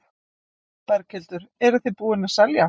Berghildur: Eruð þið búin að selja?